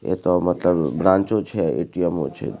एता मतलब ब्रांचों छै ए.टी.एम. ओ छै।